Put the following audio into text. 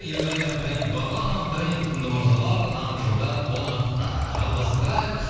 ерғали абдраимов бағлан абдраимов сынды мырзалар таңғы шоуда қонақта жалғастырайық